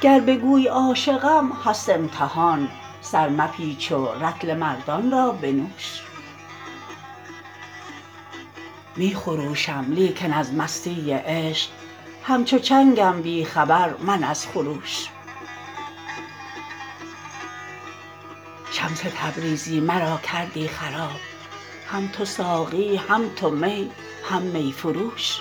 گر بگویی عاشقم هست امتحان سر مپیچ و رطل مردان را بنوش می خروشم لیکن از مستی عشق همچو چنگم بی خبر من از خروش شمس تبریزی مرا کردی خراب هم تو ساقی هم تو می هم می فروش